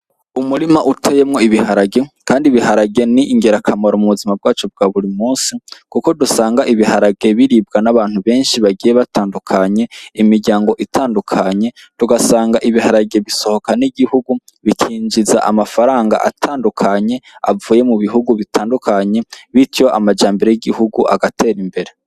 Umurima uteyemwo ibiharage, kandi ibiharage ni ingerakamaro mu buzima bwacu bwa buri musi, kuko dusanga ibiharage biribwa n'abantu benshi bagiye batandukanye imiryango itandukanye dugasanga ibiharage bisohoka n'igihugu bikinjiza amafaranga atandukanye avuye mu bihugu bitandukanye bityo majambere y'igihugu agatera imbere.